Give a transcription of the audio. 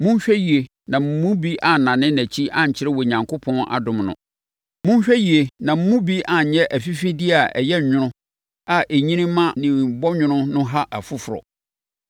Monhwɛ yie na mo mu bi annane nʼakyi ankyerɛ Onyankopɔn adom no. Monhwɛ yie na mo mu bi anyɛ sɛ afifideɛ a ɛyɛ nwono a ɛnyini ma ne bɔnwoma no ha afoforɔ.